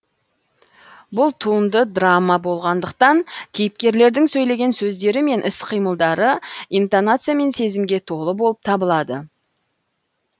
бұл туынды драма болғандықтан кейіпкерлердің сөйлеген сөздері мен іс қимылдары интонация мен сезімге толы болып табылады